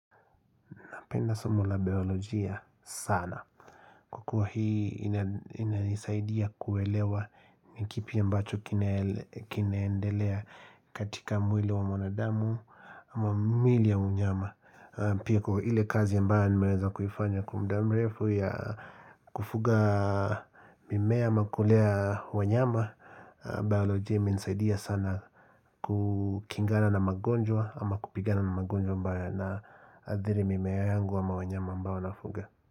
naPenda somo la biolojia sana kwa kuwa hii inanisaidia kuelewa ni kipi ambacho kinaendelea katika mwili wa mwanadamu ama miili ya unyama. Pia kwa ile kazi ya ambayo nimeweza kufanya kwa muda mrefu ya kufuga mimea ama kulea wanyama. Bayolojia imenisaidia sana kukingana na magonjwa ama kupigana na magonjwa ambayo ayanaadhiri mimea yangu ama wanyama ambao nafuga.